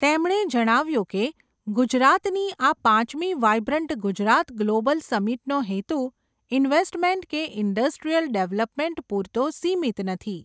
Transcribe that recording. તેમણે જણાવ્યું કે ગુજરાતની આ પાંચમી વાઇબ્રન્ટ ગુજરાત ગ્લોબલ સમિટનો હેતુ, ઇન્વેસમેન્ટ કે ઇન્ડસ્ટ્રીયલ ડેવલપમેન્ટ પુરતો સિમિત નથી.